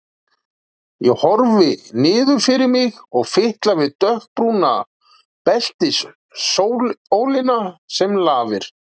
Ég horfi niður fyrir mig og fitla við dökkbrúna beltisólina sem lafir.